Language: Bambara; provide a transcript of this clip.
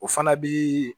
O fana bi